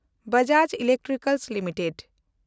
Bajaj electronicals limited